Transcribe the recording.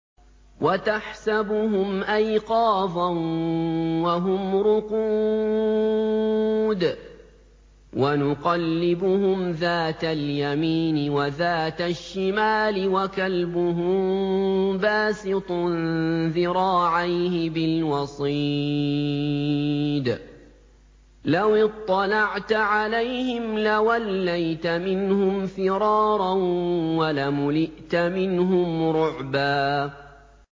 وَتَحْسَبُهُمْ أَيْقَاظًا وَهُمْ رُقُودٌ ۚ وَنُقَلِّبُهُمْ ذَاتَ الْيَمِينِ وَذَاتَ الشِّمَالِ ۖ وَكَلْبُهُم بَاسِطٌ ذِرَاعَيْهِ بِالْوَصِيدِ ۚ لَوِ اطَّلَعْتَ عَلَيْهِمْ لَوَلَّيْتَ مِنْهُمْ فِرَارًا وَلَمُلِئْتَ مِنْهُمْ رُعْبًا